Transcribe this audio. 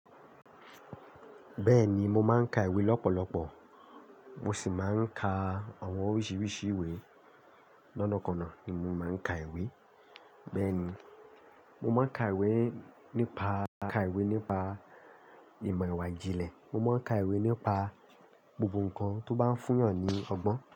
Bẹ́ẹ̀ni, mo máa ń ka ìwé lọ́pọ̀lọpọ̀ mo sì máa ń ka àwọn oríṣiríṣi ìwé. Lọ́nàkọ̀na ni mo máa ń ka ìwé. Bẹ́ẹ̀ni, mo máa ń ka ìwé nípa, ka ìwé nípa ìmọ̀ ẹ̀wà ìjìnlẹ̀, mo máa ń ka ìwé nípa gbogbo nǹkan tó bá ń fúyàn ní ọgbọ́n.